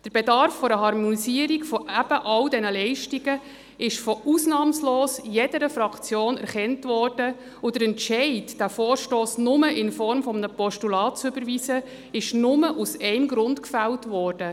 Der Bedarf einer Harmonisierung all dieser Leistungen wurde von ausnahmslos jeder Fraktion erkannt, und der Entscheid, diesen Vorstoss nur in Form eines Postulats zu überweisen, ist nur aus einem Grund gefällt worden: